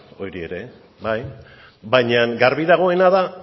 baina garbi dagoena da